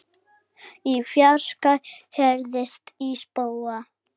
Í fjarska heyrist í spóa.